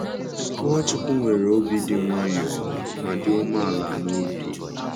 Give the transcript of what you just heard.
Nwachukwu nwere obi dị nwayọọ ma dị umeala n’obi. ’